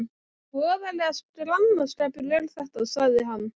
Voðalegur glannaskapur er þetta, sagði hann.